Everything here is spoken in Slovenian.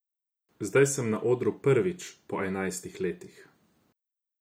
Zdaj sem na odru prvič po enajstih letih.